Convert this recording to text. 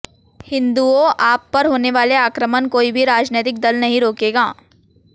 हिंदूंओ आप पर होनेवाले आक्रमण कोई भी राजनैतिक दल नहीं रोकेगा